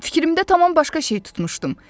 Fikrimdə tamam başqa şey tutmuşdum.